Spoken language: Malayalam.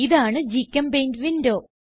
ഇതാണ് ഗ്ചെമ്പെയിന്റ് വിൻഡോ